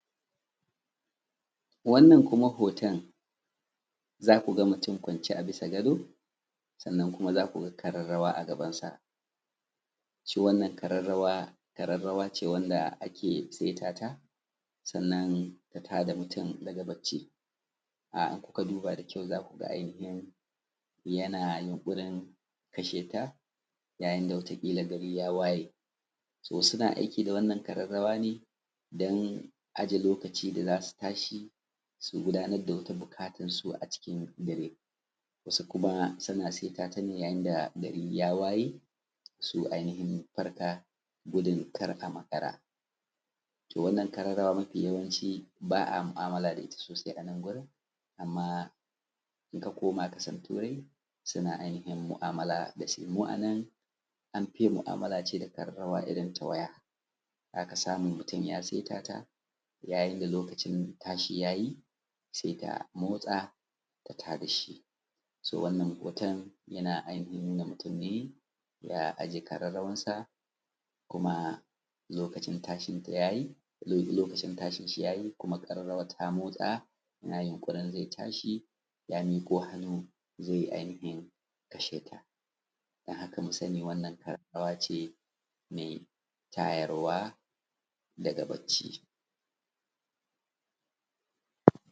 wannan kuma hoton za ku ga mutum kwance a bisa gado sannan kuma za ku ga ƙararrawa a gabansa shi wannan ƙararrawa ƙararrawa ce wanda ake saita ta sannan ta tada mutum daga bacci idan kuka duba da kyau za ku ga ainihin yana yunƙurin kasheta yayin da wata ƙila gari ya waye to suna aiki da wannan ƙararrawa ne don aje lokaci da za su tashi su gudanar da wata buƙatar su a cikin dare wasu kuma suna saita yayin da gari ya waye su ainihin farka gudun kar a makara to wannan ƙararrawa yawanci ba a mu'amala da ita sosai a nan gurin amman in ka koma ƙasan turai suna ainihin mu'amala da shi mu a nan an fi yin mu'amala ce da ƙararrawa irin ta waya za ka samu mutum ya saita ta yayin da lokacin tashi ya yi sai ta motsa ta tada shi to wannan hoton yana ainahin nuna mutum ne ya aje ƙararrawan sa kuma lokacin tashin shi ya yi kuma ƙararrawa ta motsa yana yinƙurin zai tashi ya miƙo hannu zai ainihin kashe ta don haka mu sani wannan ƙararrawa ce me tayar wa daga bacci